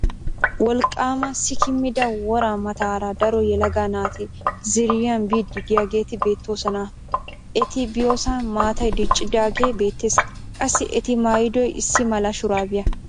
Wolqqaama sikkimida woraa mataara daro yelaga naati ziiriyan biiddi diyageeti beettoosona. Eti biyosan maatay diccidaagee beettes. Qassi eti mayyidoy issi mala shuraabiya.